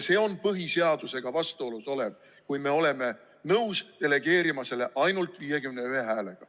See on põhiseadusega vastuolus, kui me oleme nõus delegeerima selle õiguse ainult 51 häälega.